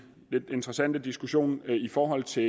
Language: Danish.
lidt interessante diskussion i forhold til